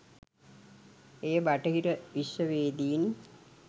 එය බටහිර විශ්වවේදීන්